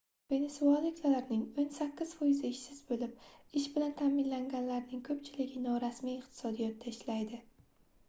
venesuelaliklarning oʻn sakkiz foizi ishsiz boʻlib ish bilan taʼminlanganlarning koʻpchiligi norasmiy iqtisodda ishlaydi